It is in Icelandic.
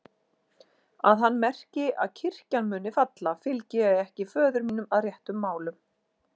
Að hann merki að kirkjan muni falla, fylgi ég ekki föður mínum að réttum málum.